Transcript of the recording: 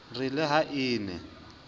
re le ha e ne